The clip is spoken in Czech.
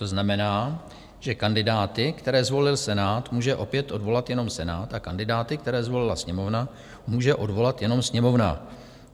To znamená, že kandidáty, které zvolil Senát, může opět odvolat jenom Senát a kandidáty, které zvolila Sněmovna, může odvolat jenom Sněmovna.